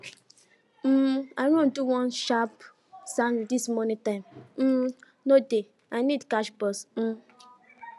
um i run do one sharp sandwich this morning time um no dey i need catch bus um